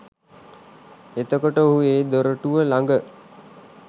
එතකොට ඔහු ඒ දොරටුව ළඟ